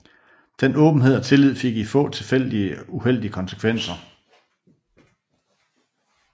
Den åbenhed og tillid fik i få tilfælde uheldige konsekvenser